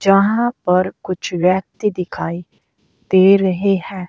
जहां पर कुछ व्यक्ति दिखाई दे रहे हैं।